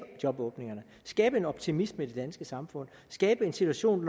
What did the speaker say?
jobåbningerne skabe en optimisme i det danske samfund skabe en situation